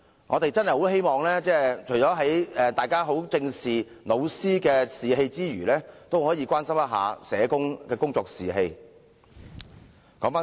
"我們真的很希望大家在正視教師的士氣之餘，亦會關心社工的工作士氣。